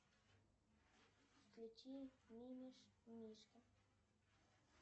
включи мимимишки